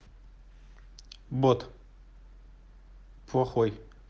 бот плохой